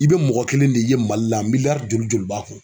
I bɛ mɔgɔ kelen de ye Mali la miliyari joli joli b'a kun